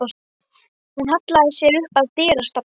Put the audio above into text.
Hún hallaði sér upp að dyrastafnum.